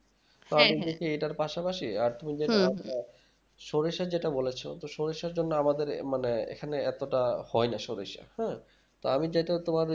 আমি যদি এটার পাস পাশি আর তুমি যেটা সরিষা যেটা বলেছ তো সরিষার জন্য আমাদের মানে এখানে এতটা হয় না মানে সরিষা হ্যাঁ তো আমি যেটা তোমার